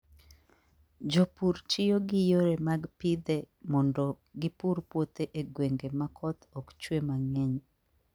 Jopur tiyo gi yore mag pidhe mondo gipur puothe e gwenge ma koth ok chue mang'eny.